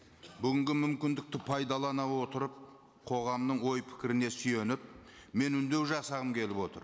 бүгінгі мүмкіндікті пайдалана отырып қоғамның ой пікіріне сүйеніп мен үндеу жасағым келіп отыр